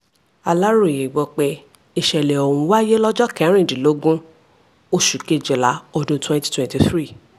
aláròye gbọ́ pé ìsẹ̀lẹ̀ ọ̀hún wáyé lọ́jọ́ kẹrìndínlógún oṣù kejìlá ọdún twenty twenty three